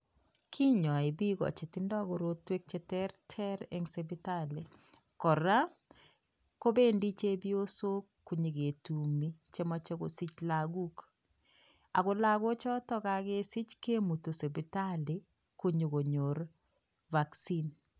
Kinyoi bik chetinye mnyenwek cheter Ter en sibitali ak kora bendi chepysok kosigis ak kikoji lagok vaccine